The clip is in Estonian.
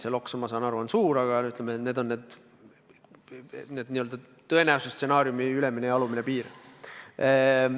See loks, ma saan aru, on suur, aga ütleme, need on n-ö tõenäosuse stsenaariumi ülemine ja alumine piir.